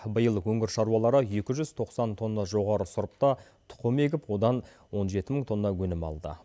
биыл өңір шаруалары екі жүз тоқсан тонна жоғары сұрыпта тұқым егіп одан он жеті мың тонна өнім алды